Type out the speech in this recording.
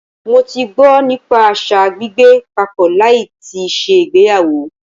Mó tí gbọ́ nípa àṣa gbígbé papọ̀ láì tíì ṣe ìgbéyàwó.